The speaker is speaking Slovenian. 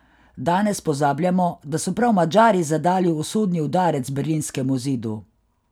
Danes pozabljamo, da so prav Madžari zadali usodni udarec berlinskemu zidu.